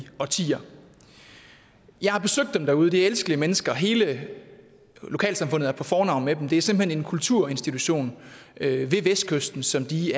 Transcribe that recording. årtier jeg har besøgt dem derude det er elskelige mennesker og hele lokalsamfundet er på fornavn med dem det er simpelt hen en kulturinstitution ved vestkysten som de